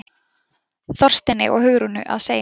Þorsteini og Hugrúnu að segja.